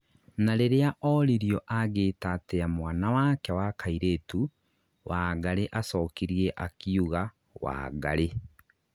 na riria oririo angiĩta atia mwana wake wa kairĩtũ, Wangari acokirie akiũga "Wangari"